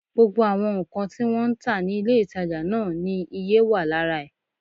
Gbogbo àwọn nǹkan tí wọ́n ń tà ní ilé-ìtàjà náà ni iye wà lára ẹ̀